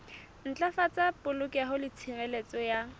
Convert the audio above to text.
ntlafatsa polokeho le tshireletso ya